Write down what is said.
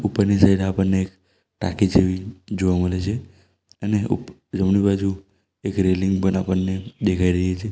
ઉપરની સાઈડ આપણને એક ટાંકી જેવી જોવા મળે છે અને ઉપ જમણી બાજુ એક રેલિંગ પન આપણને દેખાઈ રહી છે.